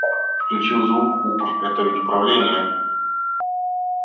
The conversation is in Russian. включил звук упр это ведь управление